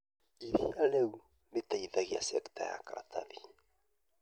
ĩrĩa rĩu ĩteithagia cekita ya karatathi